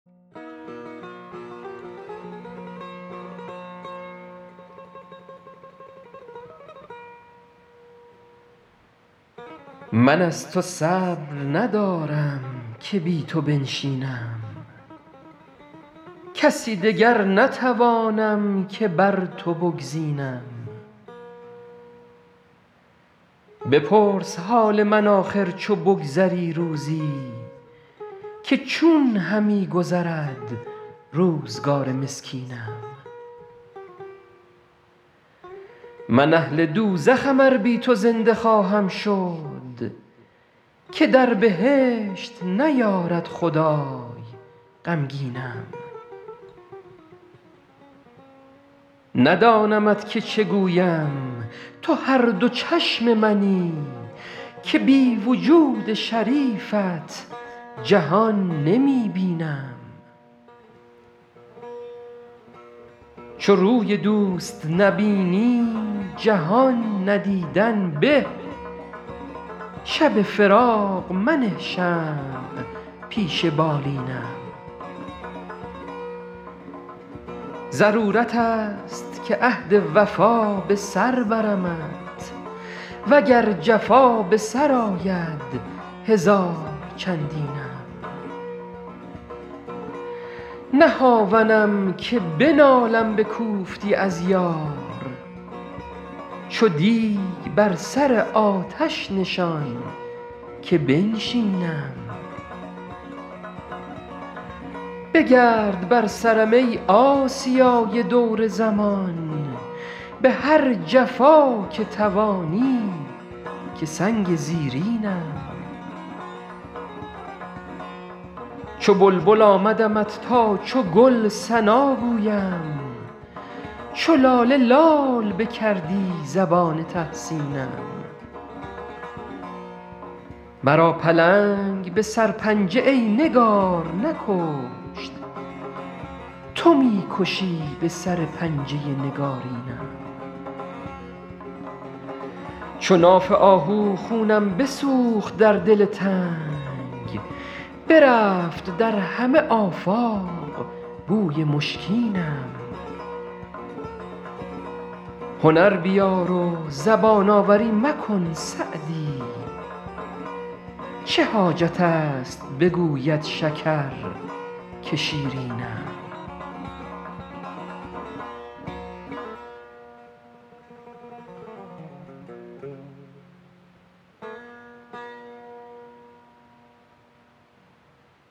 من از تو صبر ندارم که بی تو بنشینم کسی دگر نتوانم که بر تو بگزینم بپرس حال من آخر چو بگذری روزی که چون همی گذرد روزگار مسکینم من اهل دوزخم ار بی تو زنده خواهم شد که در بهشت نیارد خدای غمگینم ندانمت که چه گویم تو هر دو چشم منی که بی وجود شریفت جهان نمی بینم چو روی دوست نبینی جهان ندیدن به شب فراق منه شمع پیش بالینم ضرورت است که عهد وفا به سر برمت و گر جفا به سر آید هزار چندینم نه هاونم که بنالم به کوفتی از یار چو دیگ بر سر آتش نشان که بنشینم بگرد بر سرم ای آسیای دور زمان به هر جفا که توانی که سنگ زیرینم چو بلبل آمدمت تا چو گل ثنا گویم چو لاله لال بکردی زبان تحسینم مرا پلنگ به سرپنجه ای نگار نکشت تو می کشی به سر پنجه نگارینم چو ناف آهو خونم بسوخت در دل تنگ برفت در همه آفاق بوی مشکینم هنر بیار و زبان آوری مکن سعدی چه حاجت است بگوید شکر که شیرینم